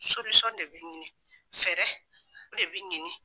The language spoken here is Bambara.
de be ɲini ,fɛɛrɛ de be ɲini.